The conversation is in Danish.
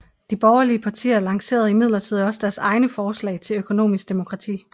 De borgerlige partier lancererede imidlertid også deres egne forslag til økonomisk demokrati